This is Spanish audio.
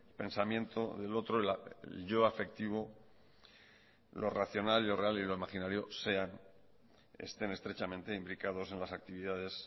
pensamiento del otro el yo afectivo lo racional lo real y lo imaginario sean estén estrechamente indicados en las actividades